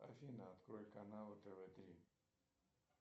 афина открой каналы тв три